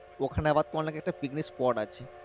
ওখানে আবার তোমার লেগে একটা picnic spot আছে।